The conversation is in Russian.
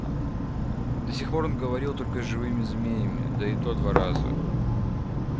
до сих пор он говорил только с живыми змеями да и то два раза